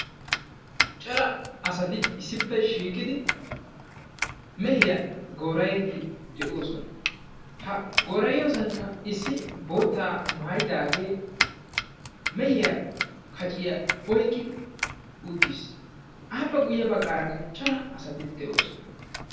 cora asati issippe shiiqidi mehiyaa goora'idi de'oosona ha gora'iyoosankka issi boottaa maayyiddaage mehiyaa kacciyaa oyqqidi uttiis; appe guyye baggarakka cora asati de'oosona.